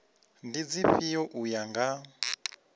ndi dzifhio u ya nga